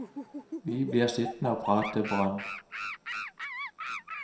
Vi blir sittende og prate brønn.